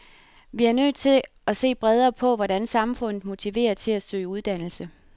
Vi er nødt til at se bredere på, hvordan samfundet motiverer til at søge uddannelse.